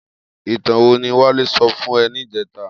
Itàn wó ni Wale sò fún è nijètá?